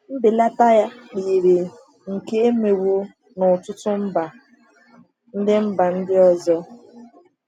Mbelata yiri nke a emewo n’ọtụtụ mba ndị mba ndị ọzọ.